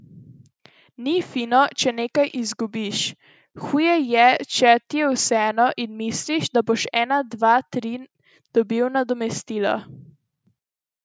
Ni fino, če nekaj izgubiš, huje je, če ti je vseeno in misliš, da boš en dva tri dobil nadomestilo.